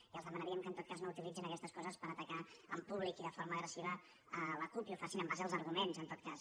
i els demanaríem que en tot cas no utilitzin aquestes coses per atacar en públic i de forma agressiva la cup i ho facin en base als arguments en tot cas